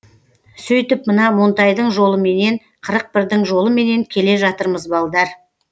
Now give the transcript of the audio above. сөйтіп мына монтайдың жолыменен қырық бірдің жолыменен келе жатырмыз балдар